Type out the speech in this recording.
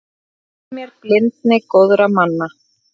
Notfærði mér blindni góðra manna.